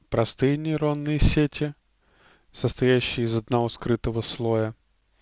простые нейронные сети состоящие из одного скрытого слоя